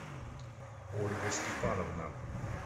ольга степановна